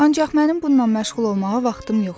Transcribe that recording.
Ancaq mənim bununla məşğul olmağa vaxtım yoxdur.